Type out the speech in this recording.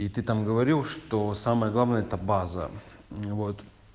и ты там говорил что самое главное это база вот